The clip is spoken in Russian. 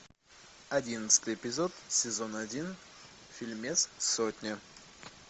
одиннадцатый эпизод сезона один фильмец сотня